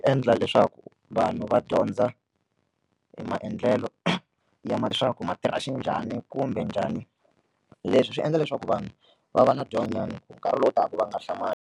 Endla leswaku vanhu va dyondza hi maendlelo ya ma leswaku ma tirha xinjhani kumbe njhani leswi swi endla leswaku vanhu va va na dyandzonyana nkarhi lowu taka va nga hlamali.